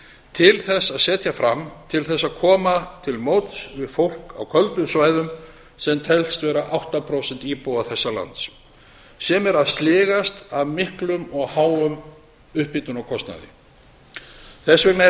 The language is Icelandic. til þess að setja fram til þess að koma til móts við fólk á köldum svæðum sem telst vera átta prósent íbúa þessa lands sem er að sligast af miklum og háum upphitunarkostnaði þess vegna er